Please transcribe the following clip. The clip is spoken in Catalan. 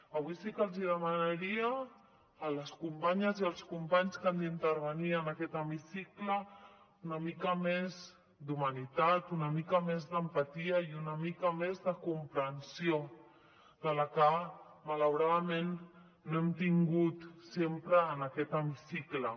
avui sí que els demanaria a les companyes i als companys que han d’intervenir en aquest hemicicle una mica més d’humanitat una mica més d’empatia i una mica més de comprensió que malauradament no hem tingut sempre en aquest hemicicle